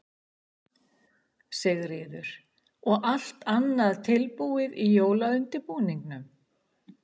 Sigríður: Og allt annað tilbúið í jólaundirbúningnum?